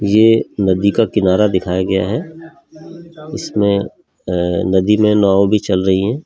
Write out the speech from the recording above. ये नदी का किनारा दिखाया गया है इसमें नदी में नाव भी चल रही है।